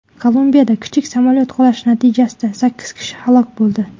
Kolumbiyada kichik samolyot qulashi natijasida sakkiz kishi halok bo‘ldi.